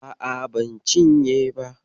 A'a, ban cinye ba.